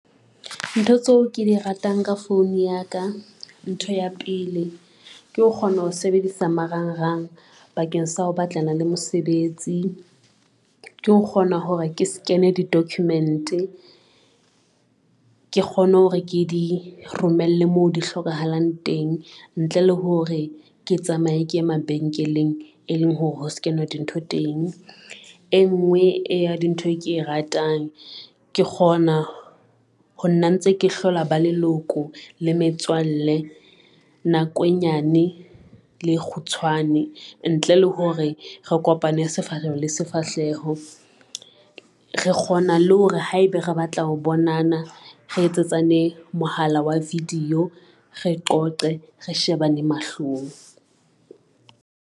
Ntho tseo ke di ratang ka phone ya ka. Ntho ya pele ke ho kgona ho sebedisa marangrang bakeng sa ho batlana le mosebetsi, ke ho kgona hore ke sekene di-document ke kgone hore ke di romelle mo di hlokahalang teng ntle le hore ke tsamaye ke e mabenkeleng, e leng hore ho skenwa dintho teng. E ngwe ya dintho e ke e ratang, ke kgona ho nna ntse ke hlola ba leloko le metswalle. Nako e nyane, le kgutshwane ntle le hore re kopane sefahleho le sefahleho, re kgona le hore haeba re batla ho bonana re etse tsane mohala wa video, re qoqe re shebane mahlong.